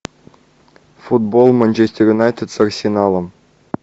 футбол манчестер юнайтед с арсеналом